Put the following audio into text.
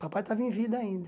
Papai estava em vida ainda.